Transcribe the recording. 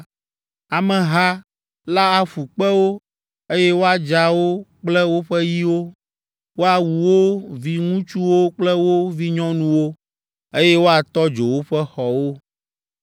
Ameha la aƒu kpe wo, eye woadza wo kple woƒe yiwo, woawu wo viŋutsuwo kple wo vinyɔnuwo, eye woatɔ dzo woƒe xɔwo.